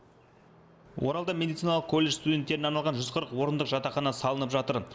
оралда медициналық колледж студенттеріне арналған жүз қырық орындық жатақхана салынып жатыр